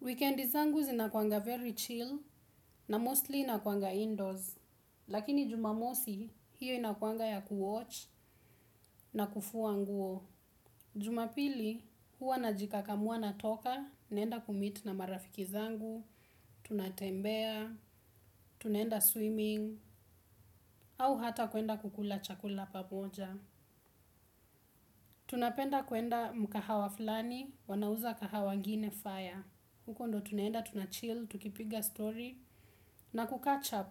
Wikendi zangu zinakuanga very chill na mostly ninakuanga indoors, lakini jumamosi hiyo inakuanga ya kuwatch na kufua nguo. Jumapili huwa najikakamua natoka, naenda kumeet na marafiki zangu, tunatembea, tunaenda swimming, au hata kuenda kukula chakula pamoja. Tunapenda kuenda mukahawa fulani wanauza kahawa ingine fire. Huko ndo tunaenda tunachill, tukipiga story na kucatch up.